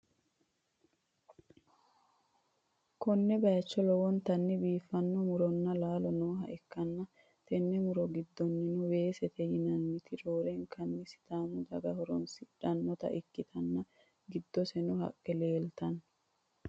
konne bayicho lowontanni biifino muronna laalo nooha ikkanna, tenne muro gidoonnino weesete yinannita roorenkanni sidaamu daga horonsidhannota ikkitanna, giddoseno haqqe leeltanno.